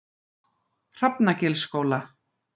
Hrafnagilsskóla